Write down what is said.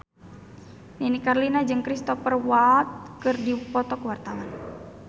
Nini Carlina jeung Cristhoper Waltz keur dipoto ku wartawan